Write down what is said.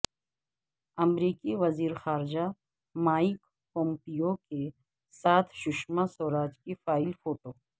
امریکی وزیرخارجہ مائیک پومپیوکے ساتھ سشما سوراج کی فائل فوٹو